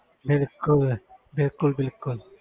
ਬਿਲਕੁਲ ਬਿਲਕੁਲ ਬਿਲਕੁਲ